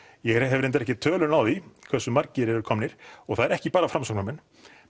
ég hef reyndar ekki töluna á því hversu margir eru komnir og það er ekki bara Framsóknarmenn